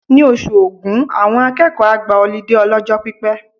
Ní oṣù Ògún, àwọn akẹ́kọ̀ọ́ á gba ọlídé ọlọ́jọ́ pípẹ́.